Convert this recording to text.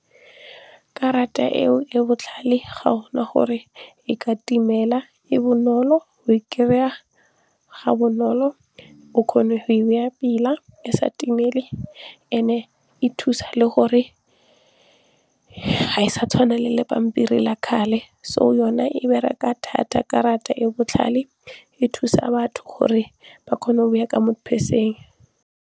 Karata eo e botlhale ga go na gore e ka timela e bonolo o e kry-a ga bonolo o kgone go e baya pila e sa timele and-e e thusa le gore ha e sa tshwana le lepampiri la kgale so yona e bereke thata karata e botlhale e thusa batho gore ba kgone go e baya ka mo di-purse-eng.